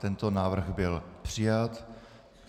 Tento návrh byl přijat.